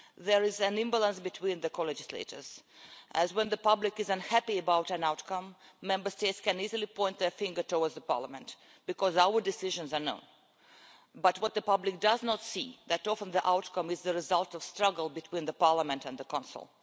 There is an imbalance between the co-legislators as, when the public is unhappy about an outcome, Member States can easily point their finger at Parliament because our decisions are known, but the public does not see that often the outcome is the result of a struggle between the Parliament and the Council.